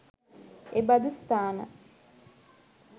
එබඳු ස්ථාන